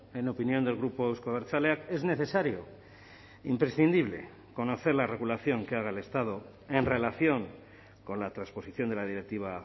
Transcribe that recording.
en opinión del grupo euzko abertzaleak es necesario imprescindible conocer la regulación que haga el estado en relación con la transposición de la directiva